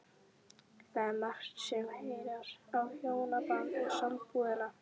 Það er margt sem herjar á hjónabandið og sambúðina.